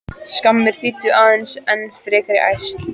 Skammir þýddu aðeins enn frekari ærsl.